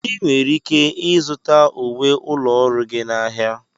Ị nwere ike ịzụta uwe ụlọ ọrụ gị n'ahịa.